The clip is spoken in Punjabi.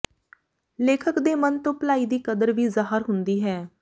ਲੇਖਕ ਦੇ ਮਨ ਤੋਂ ਭਲਾਈ ਦੀ ਕਦਰ ਵੀ ਜ਼ਾਹਰ ਹੁੰਦੀ ਹੈ